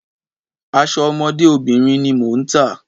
Aṣọ ọmọdé obìnrin ni mò ń tà.